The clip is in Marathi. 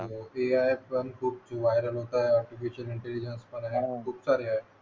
ते आहेच पण खूप व्हायरल होत आहे एप्लीकेशन खूप सारे